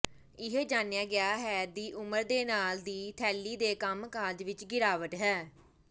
ਇਹ ਜਾਣਿਆ ਗਿਆ ਹੈ ਦੀ ਉਮਰ ਦੇ ਨਾਲ ਦੀ ਥੈਲੀ ਦੇ ਕੰਮਕਾਜ ਵਿਚ ਗਿਰਾਵਟ ਹੈ